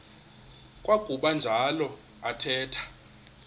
kwakuba njalo athetha